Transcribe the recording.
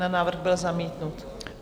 Návrh byl zamítnut.